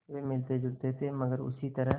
वे मिलतेजुलते थे मगर उसी तरह